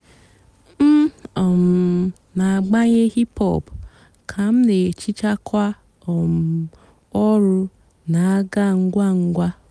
m um nà-àgbànyé hìp-hòp kà m nà-èhichá kà um ọ̀rụ́ nà-àgá ǹgwá ǹgwá.